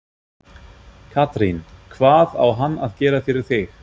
Katrín: Hvað á hann að gera fyrir þig?